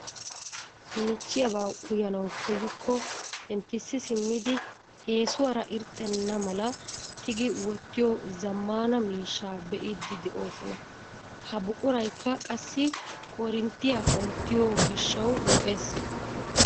Michchiyaaba uyanawu koyyikko penttisi simmidi eesuwaara irxxena mala tiigidi wottiyoo zammaana miishshaa be'iidi de'oosona. Ha buquraykka qassi korinttiyaa ottiyoo giishshawu lo"ees.